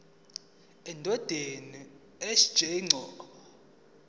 endodeni sj mchunu